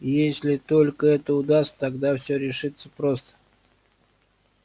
если только это удастся тогда все решится просто